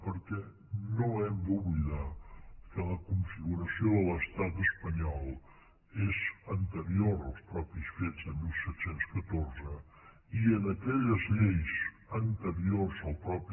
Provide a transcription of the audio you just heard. perquè no hem d’oblidar que la configuració de l’estat espanyol és anterior als mateixos fets de disset deu quatre i en aquelles lleis anteriors a la